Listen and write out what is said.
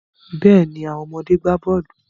Bẹ́ẹ̀ni, àwọn ọmọdé gbà bọ́ọ̀lù.